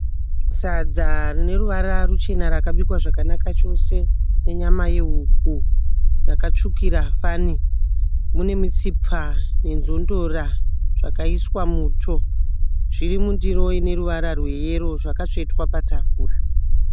Sadza rine ruvara ruchena rakabikwa zvakanaka chose nenyama yehuku yakatsvukira fani, mune mitsipa nenzondora zvakaiswa muto. Zviri mundiro ine ruvara rweyero, zvakatsvetwa patafura.